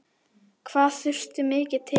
Hvað þurfti mikið til?